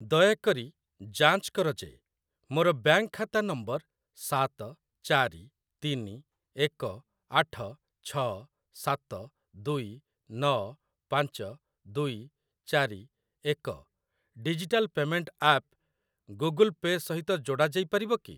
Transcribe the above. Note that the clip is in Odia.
ଦୟାକରି ଯାଞ୍ଚ କର ଯେ ମୋର ବ୍ୟାଙ୍କ୍‌ ଖାତା ନମ୍ବର ସାତ ଚାରି ତିନି ଏକ ଆଠ ଛ ସାତ ଦୁଇ ନ ପାଞ୍ଚ ଦୁଇ ଚାରି ଏକ digital payment app Google Pay ସହିତ ଯୋଡ଼ା ଯାଇପାରିବ କି?